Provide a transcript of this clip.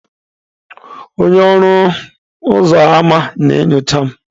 Onye ọrụ ọnụ ụzọ ámá na-enyocha m.